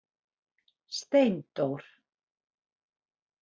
Steindór